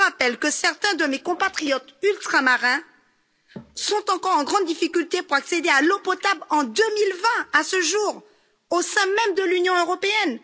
Je vous rappelle que certains de mes compatriotes ultramarins sont encore en grande difficulté pour accéder à l'eau potable en 2020, à ce jour, au sein même de l'Union européenne!